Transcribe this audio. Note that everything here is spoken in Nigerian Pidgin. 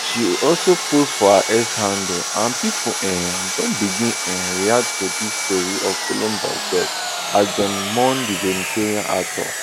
she also post for her x handle and pipo um don begin um react to dis tori of columbus death as dem mourn di veteran actor